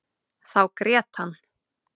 Þá grét hann.